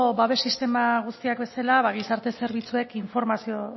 babes sistema guztiak bezala ba gizarte zerbitzuek informazio